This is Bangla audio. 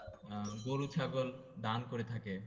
আহ গরু ছাগল দান করে থাকে